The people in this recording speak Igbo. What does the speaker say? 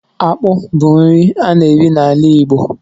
Akpụ bu nri a na-eri n'ala Igbo